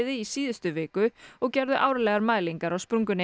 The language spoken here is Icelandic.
í síðustu viku og gerðu árlegar mælingar á sprungunni